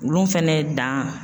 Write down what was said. Olu fɛnɛ dan